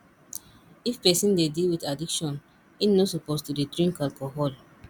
if person dey deal with addiction im no suppose to dey drink alcohol